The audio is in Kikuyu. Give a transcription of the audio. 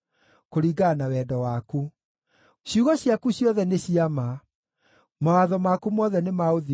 Ciugo ciaku ciothe nĩ cia ma; mawatho maku mothe nĩ ma ũthingu na nĩ ma gũtũũra tene na tene.